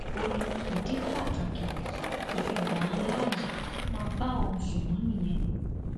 ó ní ìdí pàtàkì tí òun kò fi gbà á láàyè kí ó máa bá òun sùn mọ nìyẹn